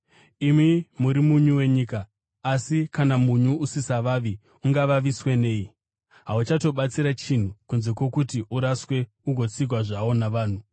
“Imi muri munyu wenyika. Asi kana munyu usisavavi ungavaviswe nei? Hauchabatsiri chinhu, kunze kwokuti uraswe ugotsikwa zvawo navanhu.